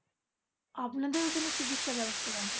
আপনাদের ঐখানে চিকিৎসা ব্যবস্থা কেমন?